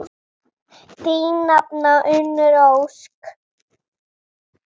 Þín nafna, Unnur Ósk.